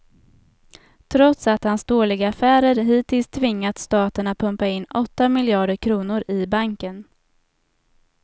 Trots att hans dåliga affärer hittills tvingat staten att pumpa in åtta miljarder kronor i banken.